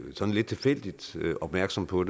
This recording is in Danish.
sådan lidt tilfældigt opmærksom på